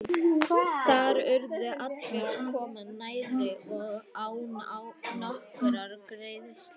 Þar urðu allir að koma nærri og án nokkurrar greiðslu.